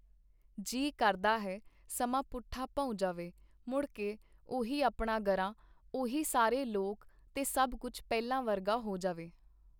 ਜੀਅ ਕਰਦਾ ਹੈ ਸਮਾਂ ਪੁੱਠਾ ਭਉਂ ਜਾਵੇ, ਮੁੜ ਕੇ ਉਹੀ ਆਪਣਾ ਗਰਾਂ, ਉਹੀ ਸਾਰੇ ਲੋਕ ਤੇ ਸਭ ਕੁੱਝ ਪਹਿਲਾਂ ਵਰਗਾ ਹੋ ਜਾਵੇ.